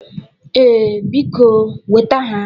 Ee, biko nweta ha